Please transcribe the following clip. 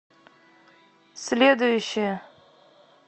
следующая